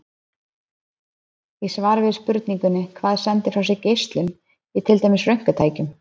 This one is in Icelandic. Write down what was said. Í svari við spurningunni Hvað sendir frá sér geislun, í til dæmis röntgentækjum?